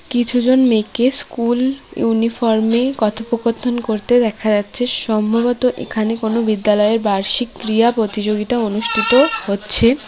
কিছুজন মেয়েকে স্কুল ইউনিফর্মে কথোপকথন করতে দেখা যাচ্ছে সম্ভবত এখানে কোন বিদ্যালয়ের বার্ষিক ক্রীয়া প্রতিযোগিতা অনুষ্ঠিত হচ্ছে।